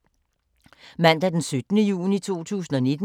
Mandag d. 17. juni 2019